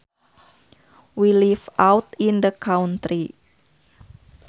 We live out in the country